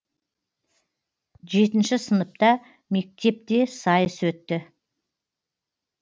жетінші сыныпта мектепте сайыс өтті